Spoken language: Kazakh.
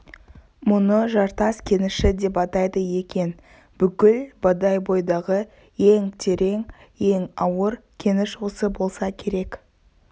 мұны жартас кеніші деп атайды екен бүкіл бодойбодағы ең терең ең ауыр кеніш осы болса керек